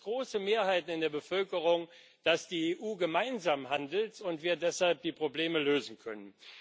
Da gibt es große Mehrheiten in der Bevölkerung, dass die EU gemeinsam handelt und wir deshalb die Probleme lösen können.